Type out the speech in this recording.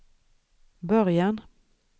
början